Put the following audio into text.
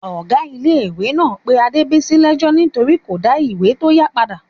Ọ̀gá iléèkàwé náà pé Adébìyí lẹ́ẹ́jọ́ nítorí kò dá ìwé tó yá padà